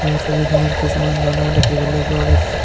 ওপৰৰ ছবিখনত কিছুমান মানুহ দেখিবলৈ পোৱা গৈছে।